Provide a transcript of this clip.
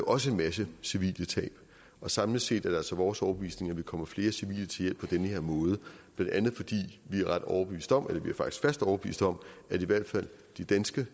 også en masse civile tab og samlet set er det altså vores overbevisning at man kommer flere civile til hjælp på den her måde blandt andet fordi vi er ret overbevist om vi er faktisk fast overbevist om at i hvert fald de danskere